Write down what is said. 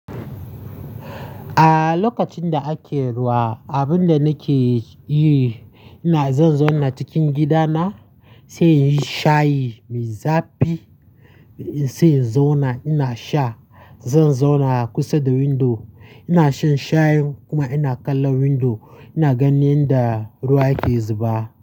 A lokacin da ake ruwa, abin da nake yi, ina zan zauna cikin gidana sai in sha shayi mai zafi, sai in zauna ina sha. Zan zauna a kusa da window, ina shan shayin kuma ina kallon window ina ganin yadda ruwa ke zuba.